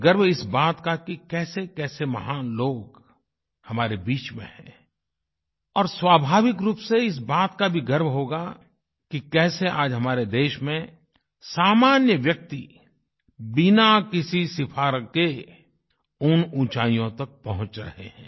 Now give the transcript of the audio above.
गर्व इस बात का कि कैसेकैसे महान लोग हमारे बीच में हैं और स्वाभाविक रूप से इस बात का भी गर्व होगा कि कैसे आज हमारे देश में सामान्य व्यक्ति बिना किसी सिफ़ारिश के उन ऊँचाइयों तक पहुँच रहें हैं